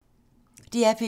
DR P2